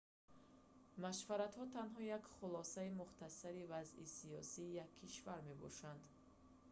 машваратҳо танҳо як хулосаи мухтасари вазъи сиёсии як кишвар мебошанд